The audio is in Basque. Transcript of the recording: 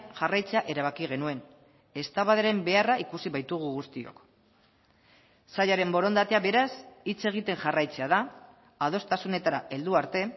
jarraitzea erabaki genuen eztabaidaren beharra ikusi baitugu guztiok sailaren borondatea beraz hitz egiten jarraitzea da adostasunetara heldu arte